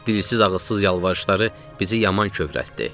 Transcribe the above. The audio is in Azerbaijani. Dilsiz ağızsız yalvarışları bizi yaman kövrəltdi.